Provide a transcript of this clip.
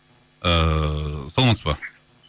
ыыы саламатсыз ба